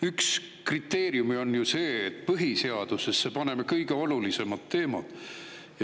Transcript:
Üks kriteeriume on ju see, et põhiseadusesse paneme vaid kõige olulisemad teemad.